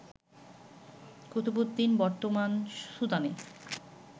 কুতুবউদ্দিন বর্তমান সুদানে